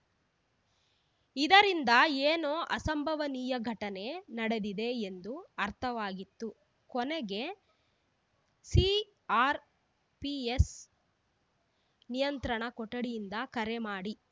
ಇದರಿಂದ ಏನೋ ಅಸಂಭವನೀಯ ಘಟನೆ ನಡೆದಿದೆ ಎಂದು ಅರ್ಥವಾಗಿತ್ತು ಕೊನೆಗೆ ಸಿಆರ್‌ಪಿಎಸ್ ನಿಯಂತ್ರಣ ಕೊಠಡಿಯಿಂದ ಕರೆ ಮಾಡಿ